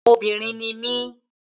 Obìnrin ni mí